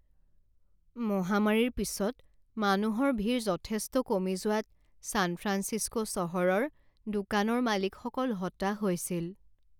মহামাৰীৰ পিছত মানুহৰ ভিৰ যথেষ্ট কমি যোৱাত ছান ফ্ৰান্সিস্কো চহৰৰ দোকানৰ মালিকসকল হতাশ হৈছিল।